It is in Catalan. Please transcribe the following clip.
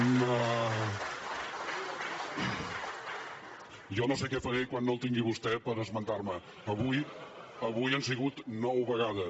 jo no sé què faré quan no el tingui a vostè per esmentar me però avui han sigut nou vegades